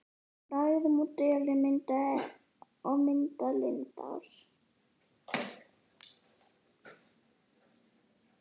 í lægðum og dölum og myndað lindár.